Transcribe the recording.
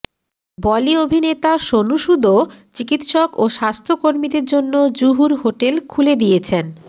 বলি অভিনেতা সোনু সুদও চিকিৎসক ও স্বাস্থ্যকর্মীদের জন্য জুহুর হোটেল খুলে দিয়েছেন